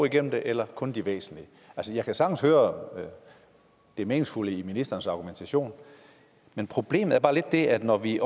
igennem det eller kun de væsentlige altså jeg kan sagtens høre det meningsfulde i ministerens argumentation men problemet er bare lidt det at når vi